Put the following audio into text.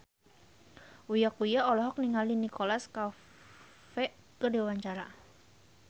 Uya Kuya olohok ningali Nicholas Cafe keur diwawancara